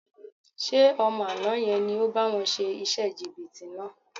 Ṣé ọmọ àná yẹn ni ò bá wọn ṣe iṣẹ́ jìbìtì náà?